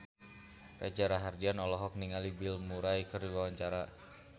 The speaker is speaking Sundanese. Reza Rahardian olohok ningali Bill Murray keur diwawancara